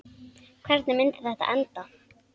Hvernig myndi þetta enda?